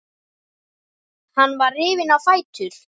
Hann var rifinn á fætur.